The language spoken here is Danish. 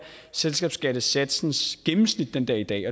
selskabsskattesatsens gennemsnit den dag i dag